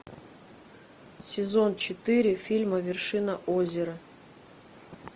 сезон четыре фильма вершина озера